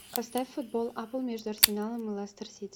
поставь футбол апл между арсеналом и лестер сити